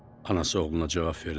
Anası oğluna cavab verdi.